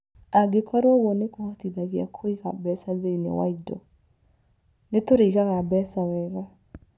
Angĩkorũo ũguo nĩ kũhotithagia kwĩiga mbeca thĩinĩ wa indo, nĩ tũrĩigaga mbeca wega.